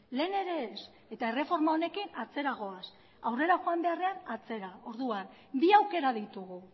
lehen ere ez eta erreforma honekin atzera goaz aurrera joan beharrean atzera orduan bi aukera ditugu